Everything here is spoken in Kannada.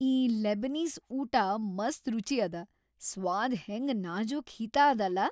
ಈ ಲೆಬನೀಸ್ ಊಟ ಮಸ್ತ್‌ ರುಚಿ ಅದ, ಸ್ವಾದ್ ಹೆಂಗ ನಾಜೂಕ್‌ ಹಿತಾ ಅದಲಾ.